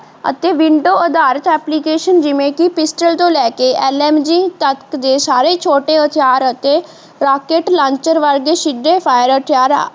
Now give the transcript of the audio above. ਅਤੇ window ਅਧਾਰਿਤ application ਜਿਵੇਂ ਕਿ pistol ਤੋਂ ਲੈ ਕੇ ਐਲ. ਐਮ. ਜੀ. ਤੱਕ ਦੇ ਸਾਰੇ ਛੋਟੇ ਹਥਿਆਰ ਅਤੇ rocket launcher ਵਰਗੇ ਸਿੱਧੇ ਫਾਇਰ ਹਥਿਆਰ